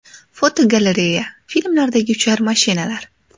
Fotogalereya: Filmlardagi uchar mashinalar.